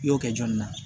I y'o kɛ jɔnni na